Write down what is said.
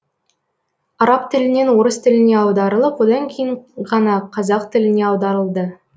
араб тілінен орыс тіліне аударылып одан кейін ғана қазақ тіліне аударылды